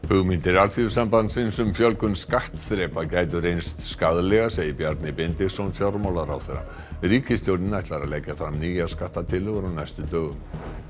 hugmyndir Alþýðusambandsins um fjölgun skattþrepa gætu reynst skaðlegar segir Bjarni Benediktsson fjármálaráðherra ríkisstjórnin ætlar að leggja fram nýjar skattatillögur á næstu dögum